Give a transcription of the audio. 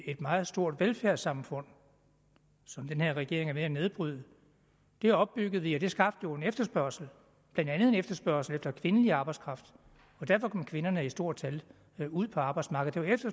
et meget stort velfærdssamfund som den her regering er ved at nedbryde det opbyggede vi og det skabte jo en efterspørgsel blandt andet en efterspørgsel efter kvindelig arbejdskraft og derfor kom kvinderne i stort tal ud på arbejdsmarkedet